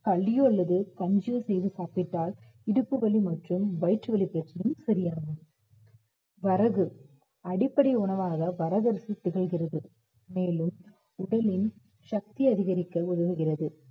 களியோ அல்லது கஞ்சியோ செய்து சாப்பிட்டால் இடுப்பு வலி மற்றும் வயிற்று வலி பிரச்சனையும் சரியாகும் வரகு அடிப்படை உணவாக வரகரிசி திகழ்கிறது மேலும் உடலில் சக்தி அதிகரிக்க உதவுகிறது